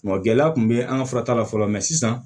gɛlɛya kun be an ka furata la fɔlɔ mɛ sisan